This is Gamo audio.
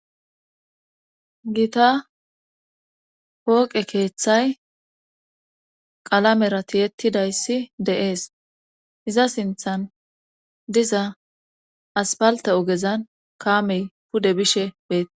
gita pooqe keeththay qalamera tiyetidayssi de'ees iza sinthan diza aspalte ogezan kaamey pude bishe beetes